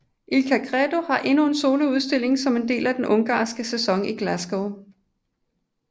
Ilka Gedő har endnu en soloudstilling som en del af den ungarske sæson i Glasgow